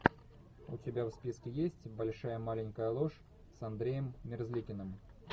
у тебя в списке есть большая маленькая ложь с андреем мерзликиным